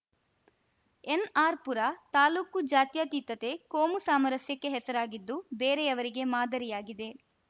ಎನ್‌ಆರ್‌ಪುರ ತಾಲೂಕು ಜಾತ್ಯತೀತತೆ ಕೋಮು ಸಾಮರಸ್ಯಕ್ಕೆ ಹೆಸರಾಗಿದ್ದು ಬೇರೆಯವರಿಗೆ ಮಾದರಿಯಾಗಿದೆ